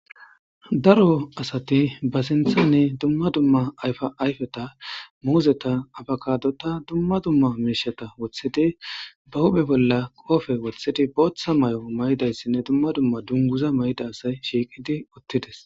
daro asati ba sinthane dumma dumma ayfa ayfeta muuzeta abakadota dumma dumma miishata wothidi ba hube bolla qoofe wothidi booththa may7o maydayssinne dumma dumma dunguza mayda asay shiiqidi uttides